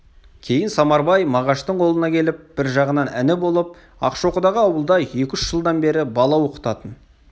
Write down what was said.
кейін самарбай мағаштың қолына келіп бір жағынан іні болып ақшоқыдағы ауылда екі-үш жылдан бері бала оқытатын